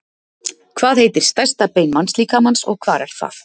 hvað heitir stærsta bein mannslíkamans og hvar er það